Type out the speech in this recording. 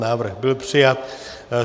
Návrh byl přijat.